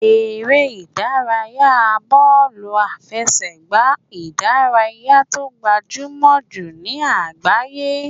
Eré ìdárayá bọ́ọ̀lù àfẹsẹ̀gbá ìdárayá tó gbajúmọ̀ jù ní àgbáyé.